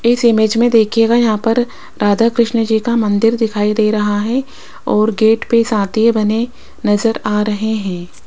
इस इमेज में देखियेगा यहां पर राधा कृष्ण जी का मंदिर दिखाई दे रहा है और गेट पर साथीये बने नजर आ रहे हैं।